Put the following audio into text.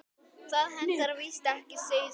Það hentar víst ekki sauðfé.